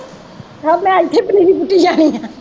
ਹਾਂ ਮੈਂ ਇੱਥੇ ਪਨੀਰੀ ਪੁੱਟੀ ਜਾਣੀ ਹੈ।